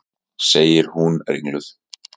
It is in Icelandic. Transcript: segir hún ringluð.